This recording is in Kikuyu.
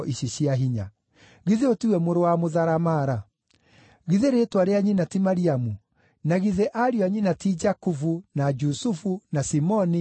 Githĩ ũyũ ti we mũrũ wa mũtharamara? Githĩ rĩĩtwa rĩa nyina ti Mariamu, na githĩ ariũ a nyina ti Jakubu, na Jusufu, na Simoni, na Juda?